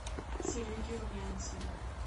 сереге румянцеве